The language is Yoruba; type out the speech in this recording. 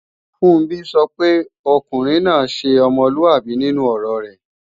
Funbí sọ pé ọkùnrin náà ṣe ọmọlúàbí nínú ọ̀rọ rẹ̀